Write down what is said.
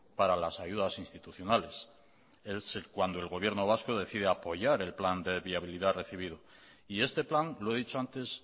para las ayudas institucionales es cuando el gobierno vasco decide apoyar el plan de viabilidad recibido y este plan lo he dicho antes